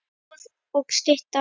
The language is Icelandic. Stoð og stytta.